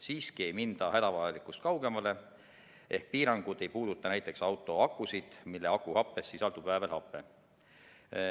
Siiski ei minda hädavajalikust kaugemale ehk piirangud ei puuduta näiteks autoakusid, kuigi akuhappes sisaldub väävelhape.